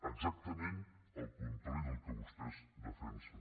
exactament el contrari del que vostès defensen